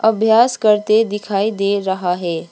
अभ्यास करते दिखाई दे रहा है।